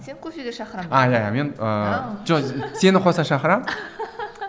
сен кофеге шақырамын мен ііі жоқ сені қоса шақырамын